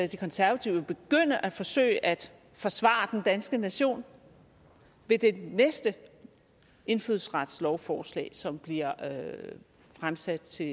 de konservative vil begynde at forsøge at forsvare den danske nation ved det næste indfødsretslovforslag som bliver fremsat til